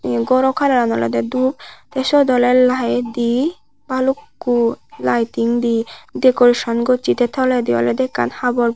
iyen gorow kalaran oley dup te syot oley laed de balukko lighting dey decoration gossey te toledi oley ekkan habor.